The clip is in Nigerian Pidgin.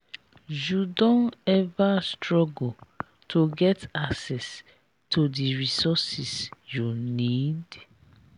you don ever struggle to get access to di resources you need?